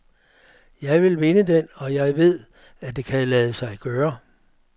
Jeg vil vinde den, og jeg ved, det kan lade sig gøre.